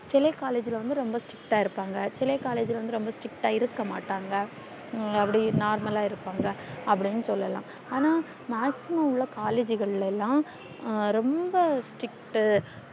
சில collage ல வந்து ரொம்ப strict இருப்பாங்க சில collage ல வந்து ரொம்ப strict இருக்க மாட்டாங்க அப்டி normal இருபாங்க அப்டின்னு சொல்லலாம் அனா maximum உள்ள collage கள் எல்லாம் ரொம்ப strict